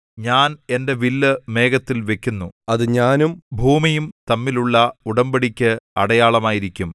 ഞാൻ എന്റെ വില്ല് മേഘത്തിൽ വയ്ക്കുന്നു അത് ഞാനും ഭൂമിയും തമ്മിലുള്ള ഉടമ്പടിയ്ക്ക് അടയാളമായിരിക്കും